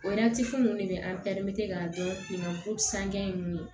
O ninnu de bɛ k'a dɔn san ninnu ye